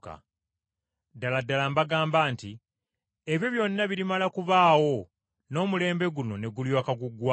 “Ddala ddala mbagamba nti omulembe guno teguliggwaawo okutuusa ng’ebintu ebyo byonna bituukiridde.